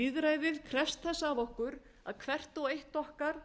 lýðræðið krefst þess af okkur að hvert og eitt okkar